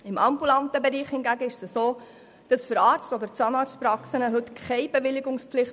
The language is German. Im ambulanten Bereich hingegen gibt es heute für Arzt- und Zahnarztpraxen keine Bewilligungspflicht.